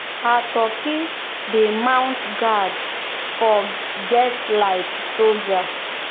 her turkey dey mount guard for get like soldier.